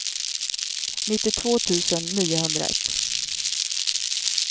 nittiotvå tusen niohundraett